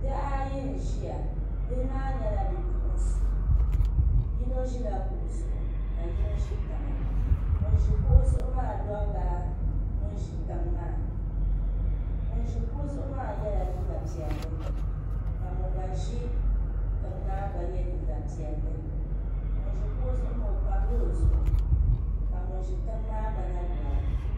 Bihi ayi n ʒiya bihi maa nyɛla bipuɣunsi yino ʒila kuɣu zuɣu ka yino ʒi tiŋa ŋun ʒi kuɣu zuɣu maa lorila ŋun ʒi tiŋ maa ŋun ʒi kuɣu zuɣu maa yɛla liiga piɛlli ka ŋun gba ʒi tiŋ maa gba yɛ liiga piɛlli ŋun ʒi kuɣu zuɣu maa o pamla o zuɣu ka ŋun ʒi tiŋ maa gba na lora